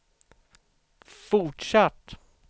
fortsatt